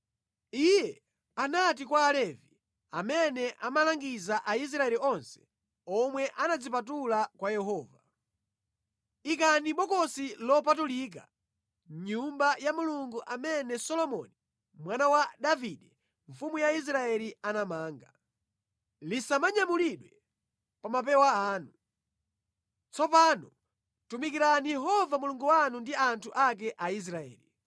Iye anati kwa Alevi amene amalangiza Aisraeli onse omwe anadzipatula kwa Yehova: Ikani bokosi lopatulika mʼNyumba ya Mulungu amene Solomoni mwana wa Davide mfumu ya Israeli anamanga. Lisamanyamulidwe pa mapewa anu. Tsopano tumikirani Yehova Mulungu wanu ndi anthu ake Aisraeli.